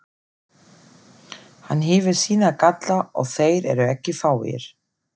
Hann hefur sína galla og þeir eru ekki fáir.